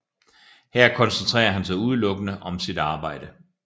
Her koncentrerer han sig udelukkende om sit arbejde